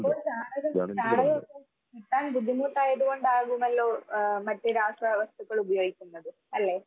ഇപ്പൊ ചാണകം ചാണകം കിട്ടാൻ ബുദ്ധിമുട്ടായതുകൊണ്ട് ആകുമല്ലോ ആഹ് മറ്റു രാസവസ്തുക്കൾ ഉപയോഗിക്കുന്നത് അല്ലേ?